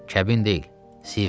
kəbin deyil, siğədir.